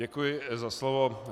Děkuji za slovo.